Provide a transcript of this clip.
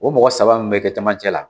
O mɔgɔ saba mun be kɛ camancɛ la